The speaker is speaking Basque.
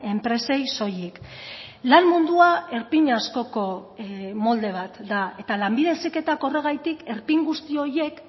enpresei soilik lan mundua erpin askoko molde bat da eta lanbide heziketak horregatik erpin guzti horiek